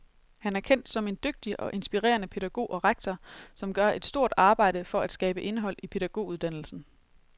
Han er kendt som en dygtig og inspirerende pædagog og rektor, som gør et stort arbejde for at skabe indhold i pædagoguddannelsen.